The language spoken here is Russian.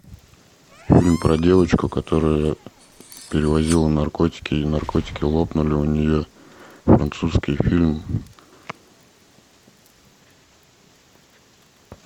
фильм про девочку которая перевозила наркотики и наркотики лопнули у нее французский фильм